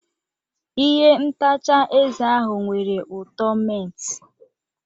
Ihe ntacha eze ahụ nwere ụtọ mint.